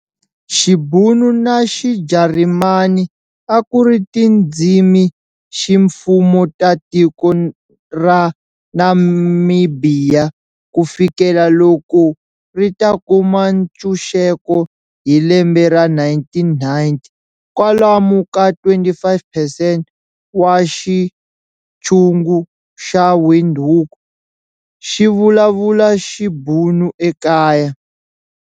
Xibhunu na xiJarimani akuri tindzimiximfumo ta tiko ra Namibhiya kufikela loko rita kuma ntshuxeko hi lembe ra 1990, kwalomu ka 25 percent wa xitshungu xa Windhoek xivulavula Xibhunu ekaya.